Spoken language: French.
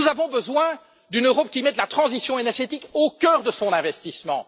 Nous avons besoin d'une Europe qui mette la transition énergétique au cœur de son investissement.